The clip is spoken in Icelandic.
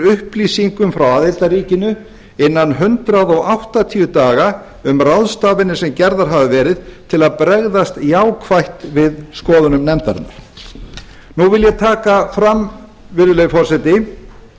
upplýsingum frá aðildarríkinu innan hundrað áttatíu daga um ráðstafanir sem gerðar hafa verið til að bregðast jákvætt við skoðunum nefndarinnar nú vil ég taka fram virðulegi forseti